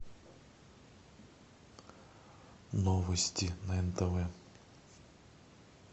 новости на нтв